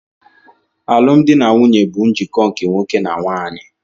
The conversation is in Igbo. Alụmdi na nwunye bụ njikọ nke nwoke na nwanyị.